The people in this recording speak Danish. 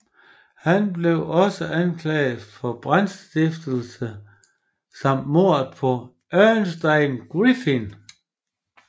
Han blev også anklaget for brandstiftelse samt mordet på Ernestine Griffin